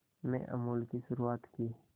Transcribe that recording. में अमूल की शुरुआत की